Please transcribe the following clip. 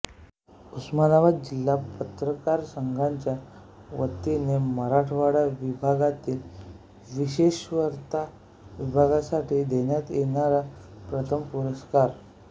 उस्मानाबाद जिल्हा पत्रकार संघाच्या वतीने मराठवाडा विभागातील विशेषवार्ता विभागासाठी देण्यात येणारा प्रथम पुरस्कार